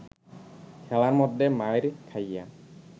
খেলার মধ্যে মাইর খাইয়া